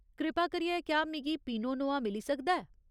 कृपा करियै, क्या मिगी पिनो नोआ मिली सकदा ऐ।